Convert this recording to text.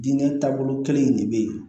Diinɛ taabolo kelen in de bɛ ye